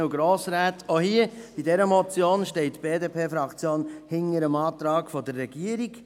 Auch hier bei dieser Motion steht die BDP-Fraktion hinter dem Antrag der Regierung.